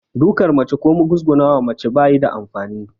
Duƙar mace ko mugusguna wa mace ba yi da amfani